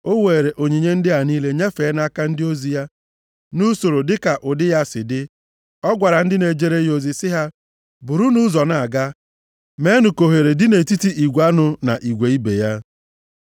O weere onyinye ndị a niile nyefee nʼaka ndị ozi ya nʼusoro dịka ụdị ha si dị. Ọ gwara ndị na-ejere ya ozi sị ha, “Burunu ụzọ na-aga, meenụ ka ohere dị nʼetiti igwe anụ na igwe ibe ya.”